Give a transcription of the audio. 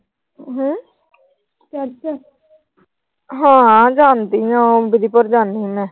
ਹਾਂ। ਜਾਂਦੀ ਆ ਬੜੀ ਬਾਰ ਜਾਂਦੀ ਆ ਮੈਂ।